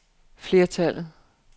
flertallet